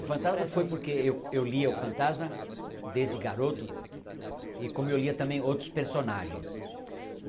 O fantasma foi porque eu eu lia o fantasma desde garoto e como eu lia também outros personagens.